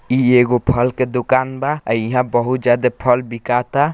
इ एगो फल के दुकान बा आ इहा बहुत ज्यादा फल बिकाता।